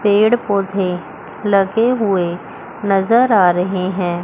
पेड़ पौधे लगे हुए नजर आ रहे हैं।